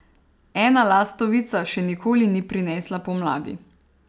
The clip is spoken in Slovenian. Ena lastovica še nikoli ni prinesla pomladi.